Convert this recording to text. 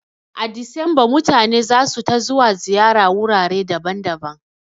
A Disamba mutane zasu ta zuwa ziyara wurare daban daban